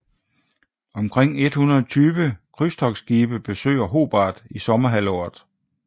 Omkring 120 krydstogtskibe besøger Hobart i sommerhalvåret